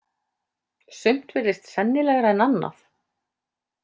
Sumt virðist sennilegra en annað.